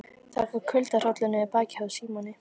Það fór kuldahrollur niður bakið á Símoni.